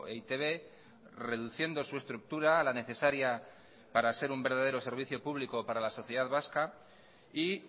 e i te be reduciendo su estructura a la necesaria para ser un verdadero servicio público para la sociedad vasca y